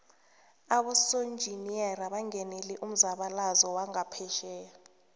abosonjiniyeri bangenele umzabalazo wangaphesheya